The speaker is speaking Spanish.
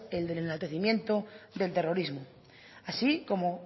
el del enaltecimiento del terrorismo así como